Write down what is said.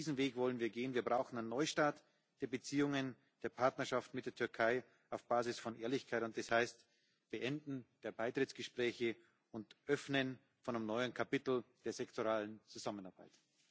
Diesen Weg wollen wir gehen. Wir brauchen einen Neustart der Beziehungen, der Partnerschaft mit der Türkei auf Basis von Ehrlichkeit, und das heißt Beenden der Beitrittsgespräche und Öffnen eines neuen Kapitels der sektoralen Zusammenarbeit.